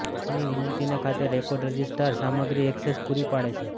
તેની વિનંતીને ખાતે રેકોર્ડ રજિસ્ટ્રાર સામગ્રી ઍક્સેસ પૂરી પાડે છે